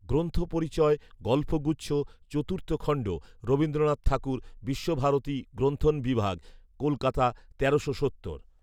"গ্রন্থপরিচয়", গল্পগুচ্ছ, চতুর্থ খণ্ড, রবীন্দ্রনাথ ঠাকুর, বিশ্বভারতী গ্রন্থণবিভাগ, কলকাতা, তেরোশো সত্তর